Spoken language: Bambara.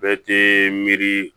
Bɛɛ tɛ miiri